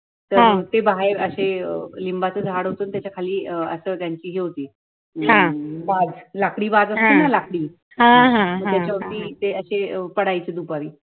ते बाहेर असं अ लिंबाच झाड होत त्याच्याखाली अ अस त्यांची हि होती बाज, लाकडी बाज अस्ति ना लाकडी मग त्याच्यावर ती ते असे पडायचे दुपारी